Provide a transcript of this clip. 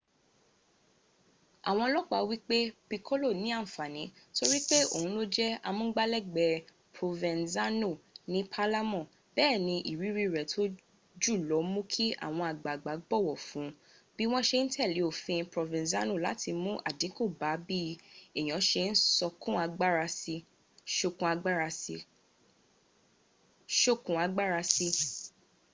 àwọn olopa wípé lo piccolo ní ànfàní torípé òhun ló jẹ́ amúngbálẹ́gbẹ̀ẹ́ provenzano ni palermo béèni iriri rẹ̀ tó jùlọ múu kí àwọn àgbààgbà bọ̀wọ̀ fun bí wọn ṣe n tẹ́lẹ̀ òfin provenzano láti mún àdínkù bá bí èèyàn ṣe ń sokùn agbára sí